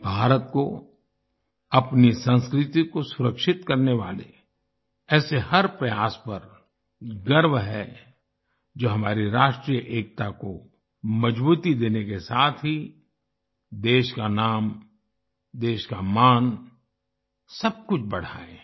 भारत को अपनी संस्कृति को सुरक्षित करने वाले ऐसे हर प्रयास पर गर्व है जो हमारी राष्ट्रीय एकता को मजबूती देने के साथ ही देश का नाम देश का मान सब कुछ बढ़ाये